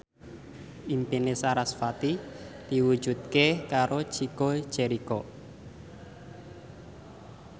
impine sarasvati diwujudke karo Chico Jericho